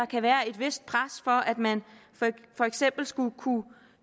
kan være et vist pres for at man for eksempel skulle kunne